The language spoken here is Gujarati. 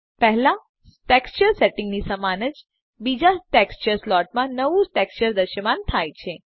પહેલા ટેક્સચર સેટિંગ ની સમાન જ બીજા ટેક્સચર સ્લોટમાં નવું ટેક્સચર દ્રશ્યમાન થાય છે